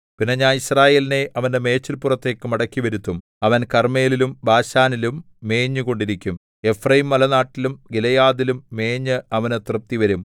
പിന്നെ ഞാൻ യിസ്രായേലിനെ അവന്റെ മേച്ചിൽപ്പുറത്തേക്ക് മടക്കിവരുത്തും അവൻ കർമ്മേലിലും ബാശാനിലും മേഞ്ഞുകൊണ്ടിരിക്കും എഫ്രയീംമലനാട്ടിലും ഗിലെയാദിലും മേഞ്ഞ് അവന് തൃപ്തിവരും